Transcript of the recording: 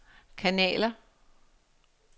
kanaler